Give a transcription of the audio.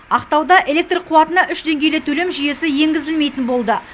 ақтауда электр қуатына үш деңгейлі төлем жүйесі енгізілмейтін болды